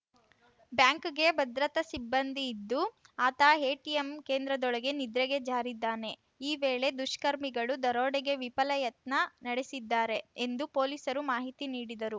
ಬ್ಯಾಂಕ್‌ಗೆ ಭದ್ರತಾ ಸಿಬ್ಬಂದಿ ಇದ್ದು ಆತ ಎಟಿಎಂ ಕೇಂದ್ರದೊಳಗೆ ನಿದ್ರೆಗೆ ಜಾರಿದ್ದಾನೆ ಈ ವೇಳೆ ದುಷ್ಕರ್ಮಿಗಳು ದರೋಡೆಗೆ ವಿಫಲ ಯತ್ನ ನಡೆಸಿದ್ದಾರೆ ಎಂದು ಪೊಲೀಸರು ಮಾಹಿತಿ ನೀಡಿದರು